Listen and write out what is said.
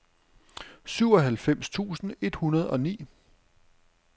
syvoghalvfems tusind et hundrede og ni